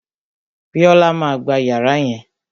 Bíọ́là má a gba yàrá yẹn